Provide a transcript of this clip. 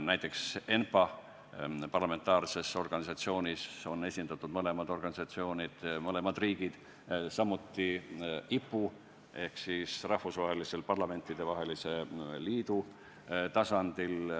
Näiteks ENPA-s on esindatud mõlemad organisatsioonid, mõlemad riigid, samuti IPU ehk Rahvusvahelise Parlamentidevahelise Liidu tasandil.